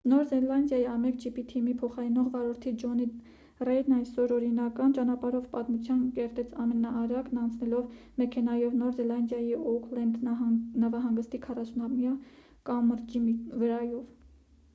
նոր զելանդիայի a1gp թիմի փոխարինող վարորդ ջոնի ռեյդն այսօր օրինական ճանապարհով պատմություն կերտեց ամենաարագն անցնելով մեքենայով նոր զելանդիայի օուքլենդ նավահանգստի 48-ամյա կամրջի վրայով